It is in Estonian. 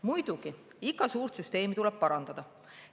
Muidugi, iga suurt süsteemi tuleb parandada.